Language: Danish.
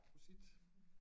Prosit